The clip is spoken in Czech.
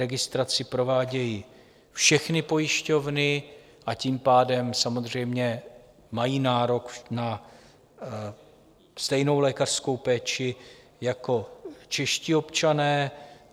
Registraci provádějí všechny pojišťovny, a tím pádem samozřejmě mají nárok na stejnou lékařskou péči jako čeští občané.